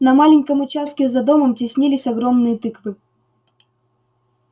на маленьком участке за домом теснились огромные тыквы